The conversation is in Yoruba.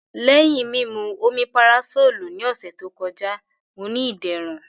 Lẹhin mimu Omeparasolu ni ọsẹ to kọja, Mo ni iderun.